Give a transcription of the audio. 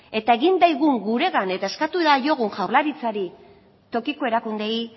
eta egin dagigun guregan eta eskatu daiogun jaurlaritzari tokiko erakundeei